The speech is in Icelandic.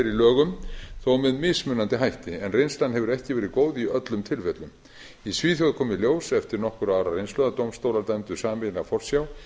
lögum þó með mismunandi hætti en reynslan hefur ekki verið góð í öllum tilfellum í svíþjóð kom í ljós eftir nokkurra ára reynslu að dómstólar dæmdu sameiginlega forsjá